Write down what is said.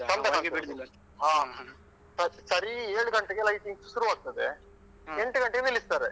ಚಂದ ಕಾಣ್ತದೆ ಹ ಸರಿ ಏಳು ಗಂಟೆಗೆ lightings ಶುರು ಆಗ್ತದೆ. ಎಂಟು ಗಂಟೆಗೆ ನಿಲ್ಲಿಸ್ತಾರೆ.